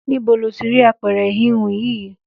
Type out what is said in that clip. Níbo lo ti ra apẹ̀rẹ̀ híhun yìí?